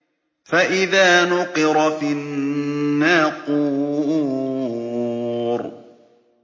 فَإِذَا نُقِرَ فِي النَّاقُورِ